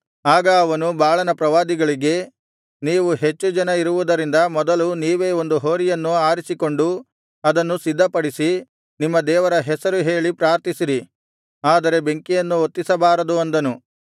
ಆಗ ಅವನು ಬಾಳನ ಪ್ರವಾದಿಗಳಿಗೆ ನೀವು ಹೆಚ್ಚು ಜನ ಇರುವುದರಿಂದ ಮೊದಲು ನೀವೇ ಒಂದು ಹೋರಿಯನ್ನು ಆರಿಸಿಕೊಂಡು ಅದನ್ನು ಸಿದ್ಧಪಡಿಸಿ ನಿಮ್ಮ ದೇವರ ಹೆಸರು ಹೇಳಿ ಪ್ರಾರ್ಥಿಸಿರಿ ಆದರೆ ಬೆಂಕಿಯನ್ನು ಹೊತ್ತಿಸಬಾರದು ಅಂದನು